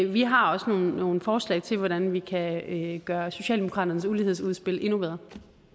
vi har også nogle nogle forslag til hvordan vi kan gøre socialdemokraternes ulighedsudspil endnu bedre